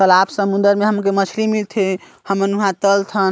तालाब समुन्दर हमके मंछली मिलते हम मन उहाँ तलथन।